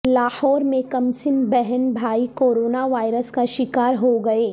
لاہور میں کمسن بہن بھائی کورونا وائرس کا شکار ہوگئے